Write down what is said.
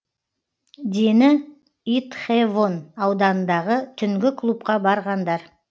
дені итхэвон ауданындағы түнгі клубқа барғандар